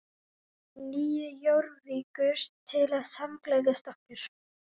Nýju Jórvíkur til að samgleðjast okkur.